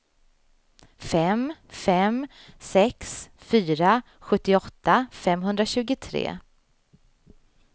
fem fem sex fyra sjuttioåtta femhundratjugotre